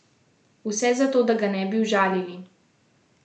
Vse zato, da ga ne bi užalili.